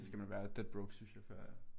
Så skal man være deadbroke synes jeg før at